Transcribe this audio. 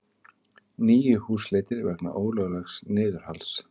Níu húsleitir vegna ólöglegs niðurhals